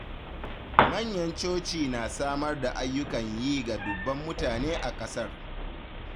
Manyan coci na samar da ayyukan yi ga dubban mutane a ƙasar.